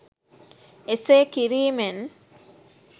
එසේ කිරීමෙන්?